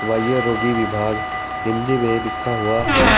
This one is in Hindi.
वाहय रोगी विभाग हिंदी में लिखा हुआ है।